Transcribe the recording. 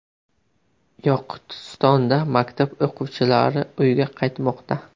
Yoqutistonda maktab o‘quvchilari uyga qaytmoqda .